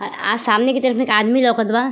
आ आ सामने की तरफ में एक आदमी लउकत बा।